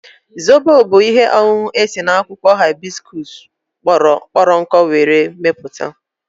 Zobo bụ ihe ọṅụṅụ esi n'akwụkwọ haibiskuus kpọrọ nkụ were mepụta